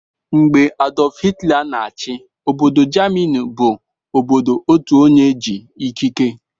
Mgbe Adulf hilter na-chi, Obodo Jamini bu obodo Otuonye ji ikike